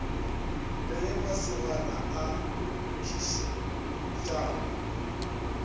le ge masogana a nkgišetšana